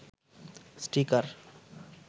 sticker